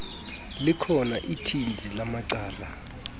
likhona ithinzi lamacala